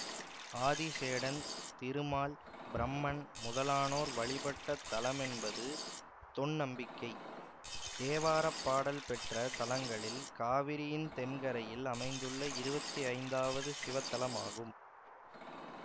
ஆதிசேடன் திருமால் பிரம்மன் முதலானோர் வழிபட்ட தலமென்பது தொன்நம்பிக்கை தேவார பாடல் பெற்ற தலங்களில் காவிரியின் தென்கரையில் அமைந்துள்ள இருவத்தி ஐந்தாவது சிவத்தலமாகும்